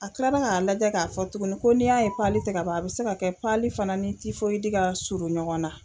A kilala k'a lajɛ k'a fɔ tuguni ko n'i y'a ye ti ka ban a bɛ se ka kɛ fana ni ka suru ɲɔgɔn na.